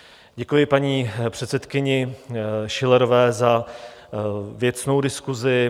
Děkuji paní předsedkyni Schillerové za věcnou diskusi.